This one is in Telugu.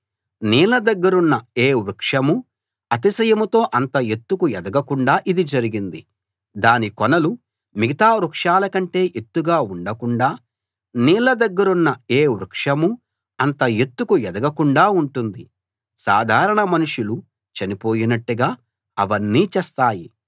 నీళ్ళ దగ్గరున్న ఏ వృక్షమూ అతిశయంతో అంత ఎత్తుకు ఎదగకుండా ఇది జరిగింది దాని కొనలు మిగతా వృక్షాలకంటే ఎత్తుగా ఉండకుండాా నీళ్ళ దగ్గరున్న ఏ వృక్షమూ అంత ఎత్తుకు ఎదగకుండా ఉంటుంది సాధారణ మనుషులు చనిపోయినట్టుగా అవన్నీ చస్తాయి